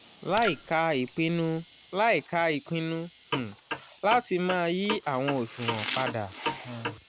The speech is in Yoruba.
láìka ipinnu láìka ipinnu um lati ma yi awọn oṣuwọn pada um...